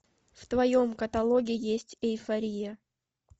в твоем каталоге есть эйфория